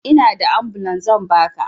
Inada ambulan zan baka